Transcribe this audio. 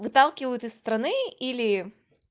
выталкивают из страны или